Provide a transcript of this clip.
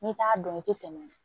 N'i t'a dɔn i tɛ tɛmɛ